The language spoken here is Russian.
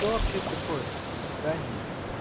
кто вообще такой до свидания